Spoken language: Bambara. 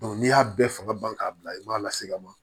n'i y'a bɛɛ fanga ban k'a bila i b'a lase ka ma